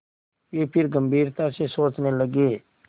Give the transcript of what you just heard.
वे फिर गम्भीरता से सोचने लगे